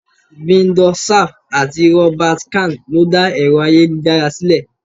Vinton Cerf àti Robert Khan lo dá Ẹ̀rọ ayélujára sílè.